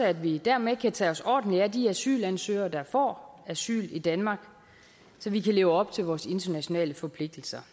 at vi dermed kan tage os ordentligt af de asylansøgere der får asyl i danmark så vi kan leve op til vores internationale forpligtelser